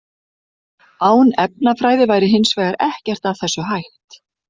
Án efnafræði væri hins vegar ekkert af þessu hægt.